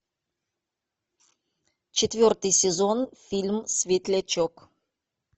четвертый сезон фильм светлячок